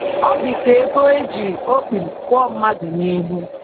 Ọ dị ka ebe e ji okpiri kụọ mmadụ n’ihu.